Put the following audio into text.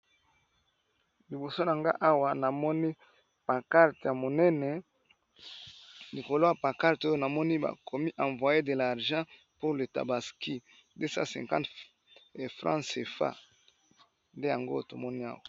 Liboso na nga awa na moni pancarte ya monene na lokola ya pancarte oyo navmoni ba komi envoyer de l'argent pour le tabaski 250 franc cfa, nde yango to moni awa .